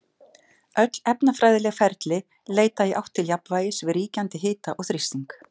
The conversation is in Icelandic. Öll efnafræðileg ferli leita í átt til jafnvægis við ríkjandi hita og þrýsting.